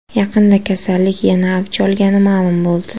Yaqinda kasallik yana avj olgani ma’lum bo‘ldi.